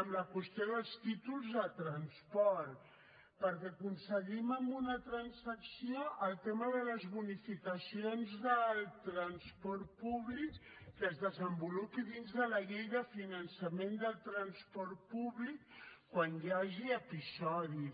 amb la qüestió dels títols de transport perquè aconseguim amb una transacció el tema de les bonificacions del transport públic que es desenvolupin dins de la llei de finançament del transport públic quan hi hagi episodis